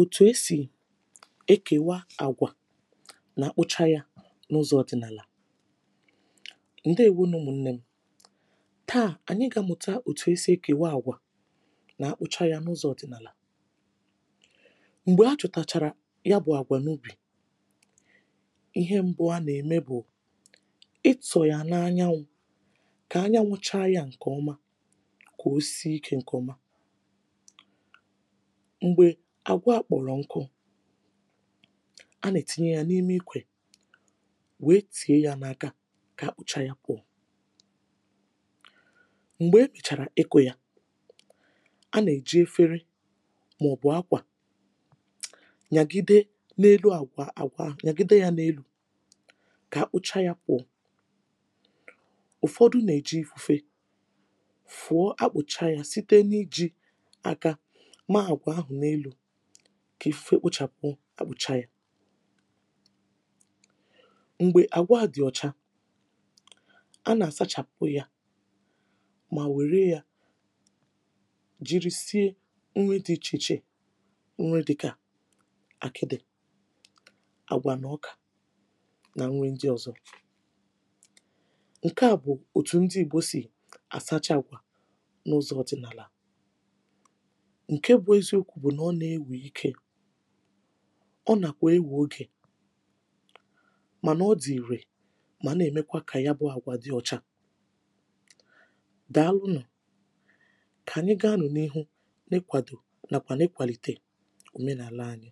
òtù esì ekèwa àgwà na-akpụcha yȧ n’ụzọ̇ ọ̀dịnàlà ǹdeèwo nʊ̇ ḿnnè m̀ taà ànyị gà-àmuta òtù esi ekèwa àgwà nà-akpụcha yȧ n’ụzọ̇ ọ̀dịnàlà m̀gbè a chọ̀tàchàrà ya bụ̇ àgwà n’ubì ihe mbụ̇ a nà-ème bụ̀ ị tọ̀ yà n’anya wụ̇ kà anyanwụcha yȧ ǹkè ọma kà o si ikė ǹkè ọma m̀gbè àgwọ a kpọ̀rọ̀ nkụ a nà-ètinye ya n’ime ikwè wee tie ya n’aga kà ha kpụcha ya kwȧ m̀gbè e kpèchàrà ịkụ̇ ya a nà-èji efere màọ̀bụ̀ akwà nyàgide n’elu àgwà àgwà nyàgide ya n’elu̇ kà ha kpụcha ya kwọ̀ ụ̀fọdụ nà-èji ifu̇fe fụọ akpụ̀cha ya site n’iji̇ maà gwà ahụ̀ n’elu̇ kà i fe kpụ̇chàpụ̀ ọ kpụ̀cha yȧ m̀gbè àgwa à dị̀ ọ̀cha a nà-àsachàpụ̀ ya mà nwèrè ya jiri sie nri dị ichèichè nri dịkà àkịdị àgwà n’ọkà nà nrị ndị ọ̀zọ ǹke à bụ̀ òtù ndị igbo sì àsacha àgwà n’ụzọ̇ ọ̀dị̀nàlà ǹke bụ̇ eziokwu̇ bụ̀ nà ọ nà-ewè ike ọ nàkwà ewè ogè mànà ọ dị̀ ìrè mànà èmekwa kà yabụ àgwà dị ọcha dàalụ nụ̀ kà ànyị ga-anụ̇ n’ihu n’ịkwàdò nàkwà n’ịkwàlite òmenàla anyị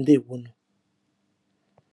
ǹdeèwonụ̀